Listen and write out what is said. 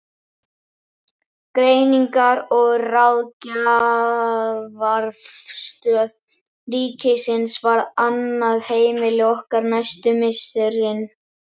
Greiningar- og ráðgjafarstöð ríkisins varð annað heimili okkar næstu misserin.